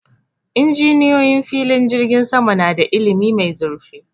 Injiniyoyi filin jirgin sama na da ilimi mai zurfi